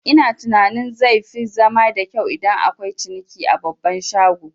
Ina tunanin zai fi zama da kyau idan akwai ciniki a babban shago